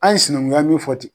An ye sinankunya mun fɔ ten